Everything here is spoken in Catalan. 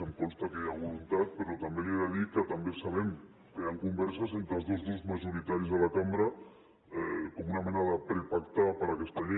em consta que hi ha voluntat però també li he de dir que sabem que hi han converses entre els dos grups majoritaris de la cambra com una mena de prepacte per a aquesta llei